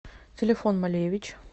телефон малевич